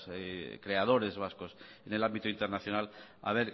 creadores vascos en el ámbito internacional a